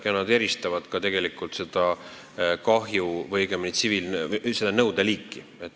Ja nad eristavad ka seda nõudeliiki.